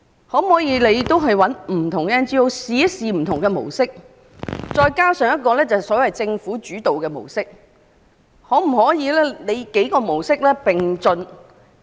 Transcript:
可否找來不同的 NGO， 嘗試採用不同模式，再加上一個所謂"政府主導"的模式，幾種模式同時進行試驗？